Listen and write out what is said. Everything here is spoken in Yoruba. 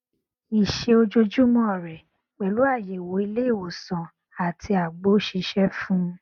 iṣẹ ojoojúmọ rẹ pẹlú àyẹwò ilé ìwòsàn àti àgbo sísè fún